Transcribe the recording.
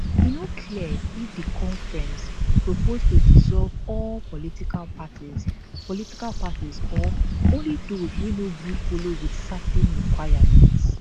e no clear if di conference propose to dissolve all political parties political parties or only those wey no gree follow wit certain requirements